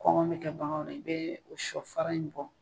Kɔngɔ bɛ kɛ baganw na i bɛ o sɔfara in bɔ